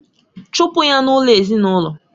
chụpụ ya n'ụlọ ezinaụlọ!